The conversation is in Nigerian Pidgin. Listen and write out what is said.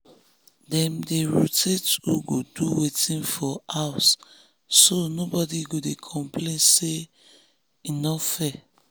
dem dey rotate who go do wetin for house so nobody go dey complain say e no fair.